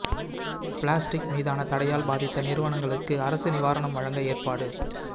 plastic மீதான தடையால் பாதித்த நிறுவனங்களுக்கு அரசு நிவாரணம் வழங்க ஏற்பாடு